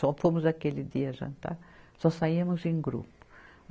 Só fomos aquele dia jantar, só saíamos em grupo.